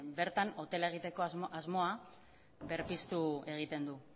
bertan hotela egiteko asmoa berpiztu egiten du